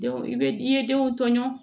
Denw i bɛ i ye denw tɔɲɔgɔn